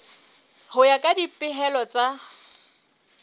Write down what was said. ho ya ka dipehelo tsa